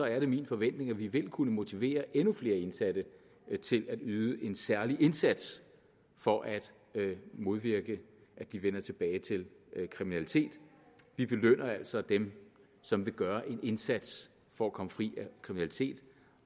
er det min forventning at vi vil kunne motivere endnu flere indsatte til at yde en særlig indsats for at modvirke at de vender tilbage til kriminalitet vi belønner altså dem som vil gøre en indsats for at komme fri af kriminalitet